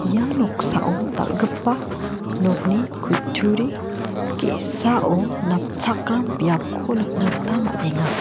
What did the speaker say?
ia noksao dal·gipa nokni kutturi ge·sao napchakram biapko nikna gita man·enga.